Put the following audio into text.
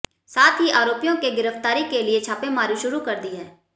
साथ ही आरोपियों के गिरफ्तारी के लिए छापेमारी शुरू कर दी है